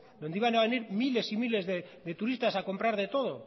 donde iban a venir miles y miles de turistas a comprar de todo